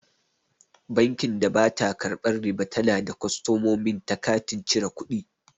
Bankin da bata karɓan riba tana ba kostomomin ta katin cire kuɗi